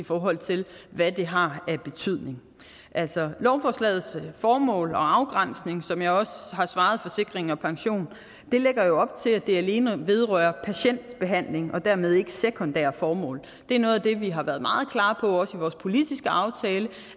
forhold til hvad det har af betydning altså lovforslagets formål og afgrænsning som jeg også har svaret forsikring pension lægger jo op til at det alene vedrører patientbehandling og dermed ikke de sekundære formål det er noget af det vi har været meget klare på også i vores politiske aftale